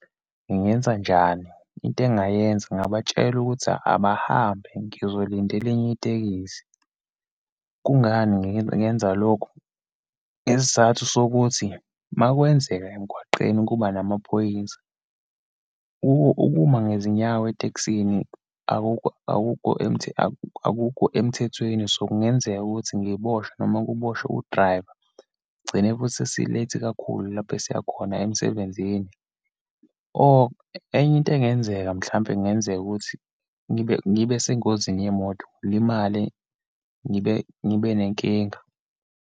Ngingenzanjani? Into engingayenza ngingabatshela ukuthi abahambe, ngizolindela enye itekisi. Kungani ngi ngenza lokhu? Isizathu sokuthi uma kwenzeka emgwaqeni kuba namaphoyisa, ukuma ngezinyawo etekisini, akukho, akukho , akukho emthethweni, so, kungenzeka ukuthi ngiboshwe, noma kuboshwe udrayiva, gcine futhi sesi-late kakhulu lapho esiya khona, emsebenzini. Or enye into engenzeka, mhlawumbe kungenzeka ukuthi ngibe, ngibe sengozini yemoto ngilimale, ngibe ngibe nenkinga.